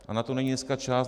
A na to není dneska čas.